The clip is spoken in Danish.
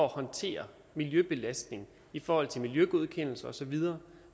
at håndtere miljøbelastning i forhold til miljøgodkendelse osv